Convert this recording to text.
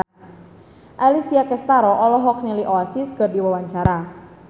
Alessia Cestaro olohok ningali Oasis keur diwawancara